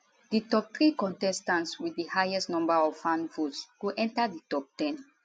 di top three contestants wit di highest number of fan votes go enta di top 10